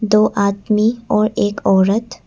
दो आदमी और एक औरत--